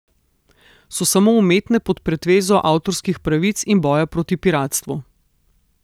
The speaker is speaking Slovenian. So samo umetne pod pretvezo avtorskih pravic in boja proti piratstvu.